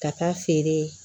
Ka taa feere